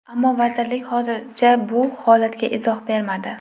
Ammo vazirlik hozircha bu holatga izoh bermadi.